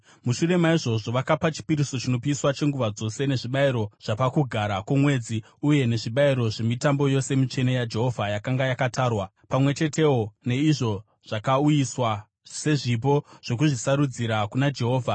Mushure maizvozvo, vakapa chipiriso chinopiswa chenguva dzose, nezvibayiro zvapaKugara kwoMwedzi uye nezvibayiro zvemitambo yose mitsvene yaJehovha yakanga yakatarwa, pamwe chetewo neizvo zvakauyiswa sezvipo zvokuzvisarudzira kuna Jehovha.